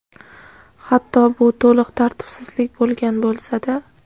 hatto bu to‘liq tartibsizlik bo‘lgan bo‘lsa-da.